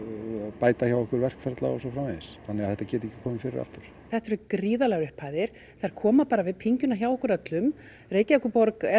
bæta hjá okkur verkferla og svo framvegis þannig að þetta geti ekki komið fyrir aftur þetta eru gríðarlegar upphæðir þær koma bara við pyngjuna hjá okkur öllum Reykjavíkurborg er